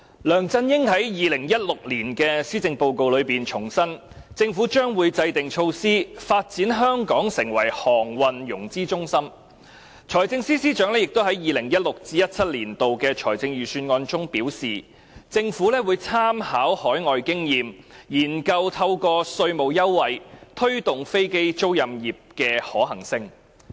梁振英在2016年的施政報告重申，政府將會制訂措施，發展香港成為航空融資中心；財政司司長亦在 2016-2017 年度財政預算案中表示，政府會參考海外經驗，研究透過提供稅務優惠，推動飛機租賃業的發展。